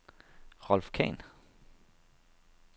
Rolf Khan